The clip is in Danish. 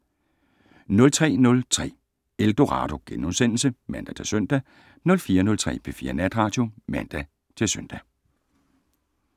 03:03: Eldorado *(man-søn) 04:03: P4 Natradio (man-søn)